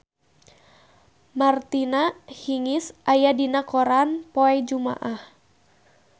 Martina Hingis aya dina koran poe Jumaah